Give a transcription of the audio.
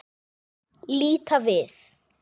Líta við.